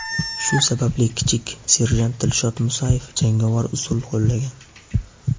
Shu sababli kichik serjant Dilshod Musayev jangovar usul qo‘llagan.